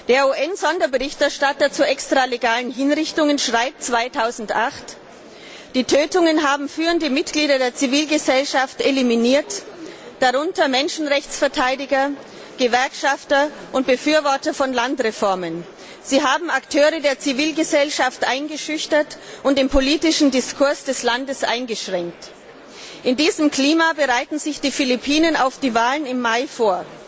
Der UN Sonderberichterstatter zu extralegalen Hinrichtungen schreibt 2008 Die Tötungen haben führende Mitglieder der Zivilgesellschaften eliminiert, darunter Menschenrechtsverteidiger, Gewerkschaftler und Befürworter von Landreformen. Sie haben Akteure der Zivilgesellschaft eingeschüchtert und den politischen Diskurs des Landes eingeschränkt. In diesem Klima bereiten sich die Philipinen auf die Wahlen im Mai vor.